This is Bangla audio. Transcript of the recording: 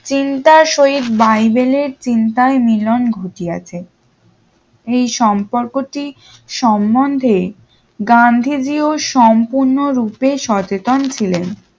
চিন্তা শরিক বাইবেল এ চিন্তায় মিলন ঘটিয়াছে এই সম্পর্কটি সম্বন্ধেই গান্ধীজিও সম্পূর্ণ রূপে সচেতন ছিলেন